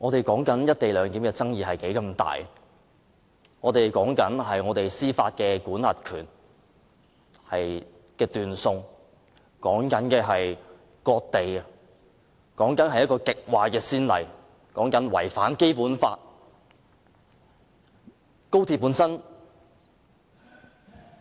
不過，"一地兩檢"有重大爭議，關乎香港司法管轄權的斷送，關乎割地，這是一個極壞的先例，違反《基本法》。